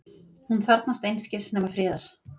Hún þarfnast einskis nema friðar.